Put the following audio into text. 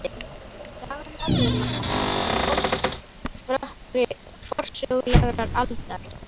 Saga Norðurlanda hefst í hálfrökkri forsögulegrar aldar.